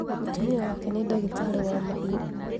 Mũtumia wake nĩ ndagĩtarĩ wa mahiũ